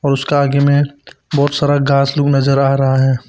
और उसका आगे में बहुत सारा घास लोग नजर आ रहा है।